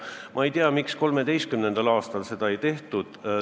Ma ei tea, miks 2013. aastal seda ei tehtud.